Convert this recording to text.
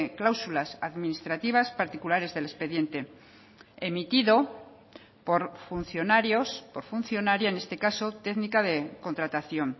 cláusulas administrativas particulares del expediente emitido por funcionarios por funcionaria en este caso técnica de contratación